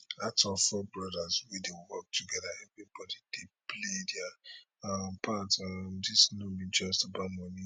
out of four brothers wey dey work togeda everybody dey play dia um part um dis no be just about money